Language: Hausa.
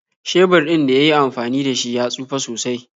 Shebir ɗin da yi yi amfani da shi ya tsufe sosai.